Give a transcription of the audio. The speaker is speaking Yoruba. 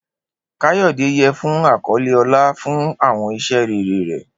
Kayode yẹ fun akọle ọlá fun awọn iṣẹ rere rẹ.